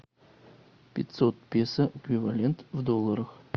пятьсот песо эквивалент в долларах